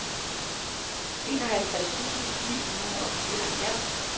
enoghalvtreds tusind ni hundrede og fireoghalvfjerds